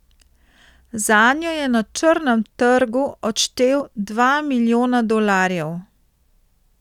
Zanjo je na črnem trgu odštel dva milijona dolarjev.